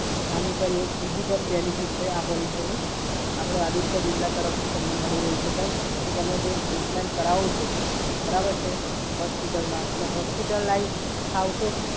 આની સર એક બીજી પણ બેનિફિટ છે આ પોલિસીની આપડે આદિત્ય બિરલા તરફથી તમને મળી રહી છે સર. જો તમે જો ટ્રીટમેન્ટ કરાવો છો, બરાબર છે? હોસ્પિટલમાં અને હોસ્પિટલાઇઝ થાવ છો